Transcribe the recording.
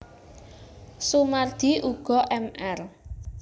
Soemardi uga Mr